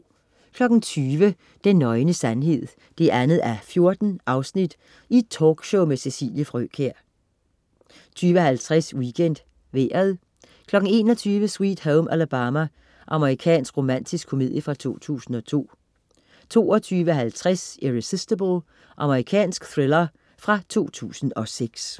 20.00 Den nøgne sandhed 2:14. Talkshow med Cecilie Frøkjær 20.50 WeekendVejret 21.00 Sweet Home Alabama. Amerikansk romantisk komedie fra 2002 22.50 Irresistible. Australsk thriller fra 2006